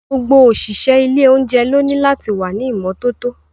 Gbogbo òṣìṣẹ́ ilé oúnjẹ lóní láti wà ní ìmọ́tótó.